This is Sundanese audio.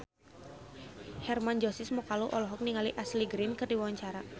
Hermann Josis Mokalu olohok ningali Ashley Greene keur diwawancara